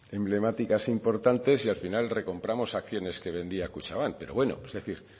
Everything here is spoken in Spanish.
emblemáticas importantes y al final recompramos acciones que vendía kutxabank pero bueno